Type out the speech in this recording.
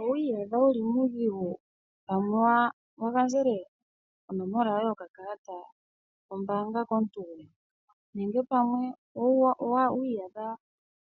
Owiiyadha wuli muudhigu pamwe wagandjele onomola yoye yokakalata kombaanga komuntu. Nenge pamwe owiiyadha